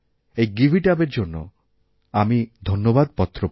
এই give it up এর জন্য আমি ধন্যবাদপত্র পাই